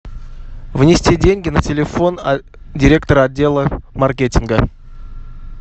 внести деньги на телефон директора отдела маркетинга